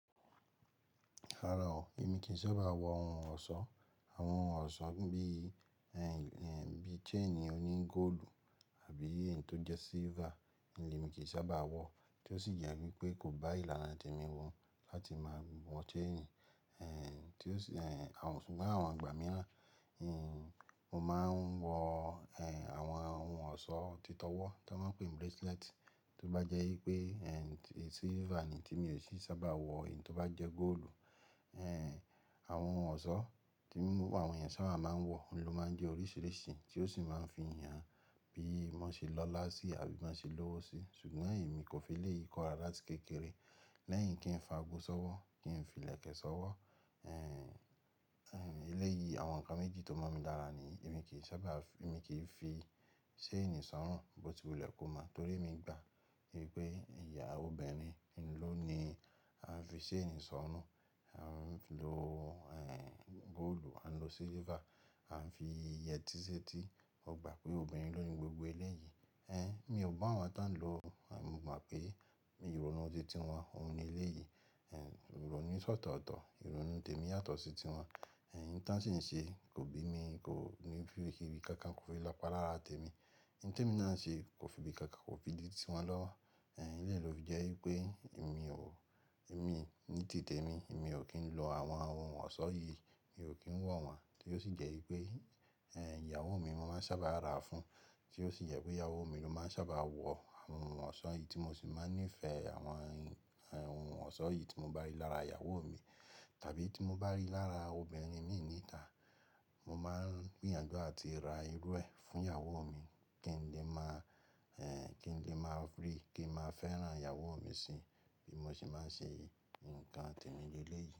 Rárá o, èmi kì sábà wọ ohun ọ̀ṣọ́. Àwọn ohun ọ̀ṣọ́ bí, bí chain oní goolu àbí èyí tó jẹ́ silver ni èmi kì sábà wọ, tí ó sì jẹ́ wípé kò bá ìlànà tèmi mun láti máa wọ chain. Tí ó sì, ṣùgbọ́n àwọn igbà míràn, mo máa ń wọ, àwọn ohun ọ̀ṣọ́ títọ́wọ́ to maa ń pè ní bracelet. Tí ó bá jẹ́ wípé, tí silver ni tí mi ò sì sábà wọ èyí tó bá jẹ́ gold. Àwọn ohun ọ̀ṣọ́ tí, àwọn èyàn ṣaba máa ń wọ, ò ló máa ń jẹ́ oríṣiríṣi tí ó sì máa ń fihàn bí wọ́n ṣe lọ́lá síi àbí bo ṣe lọ́wọ́ síi. Ṣùgbọ́n èmi kò fi elèyi kọ rárá lati kékeré lẹ́yìn kí n fa ago sọ́wọ́, kí n fi ìlẹ̀kẹ̀ sọ́wọ́. Eléyìí àwọn ǹkan méjì tó mọ̀n mi lára ni niyi emi ki sábà, èmi kì fi chain sọ́rùn bó ti wulẹ́ komo torí mi gbà wípé ìyàwó obìnrin ló ni a ń fi chaini sọ́rùn. A ń lo, goolu, a ń lo silver, a ń fi yẹtí sétí. Mo gbà pé obìnrin ló ni gbogbo eléyìí. Mi ò bu awọn tán lọ. Mo mọ̀ pé ìrònú ti tí wọn, òhun ni eléyìí. Ìrònú se otọ̀ tọ̀, ìrònú tèmi yàtọ̀ sí ti wọn. Ohun tí wọ́n sì ń ṣe kò bí mi, kò ní fi kíbi kankan kó fi lọpa lára tèmi. Ohun tèmi náà ń ṣe kò fi bí kankan kò fi di tí wọn lọ́wọ́. Eléyìí ló fi jẹ́ wípé èmi ò, èmi ní ti tèmi, èmi ò kí ń lo àwọn ohun ọ̀ṣọ́ yìí, èmi ò kí ń wọ̀ wọ́n. Tí ó sì jẹ́ wípé, ehn, ìyàwó mi mo máa ń sábà ra fún, tí ó sì jẹ́ wípé ìyàwó mi ló máa ń sábà wọ àwọn ohun ọ̀ṣọ́ yìí tí mo sì máa ń nífẹ̀ àwọn ohun ọ̀ṣọ́ yìí tí mo bá rí lára ìyàwó mi tàbí tí mo bá rí lára obìnrin imin níta. Mo máa ń gbìyànjú àti ra irú ẹ fún ìyàwó mi kí n lè máa, kí n lè máa ri, kí n máa fẹ́ràn ìyàwó mi síi bí mo ṣe máa ń ṣe nǹkan tèmi ní eléyìí.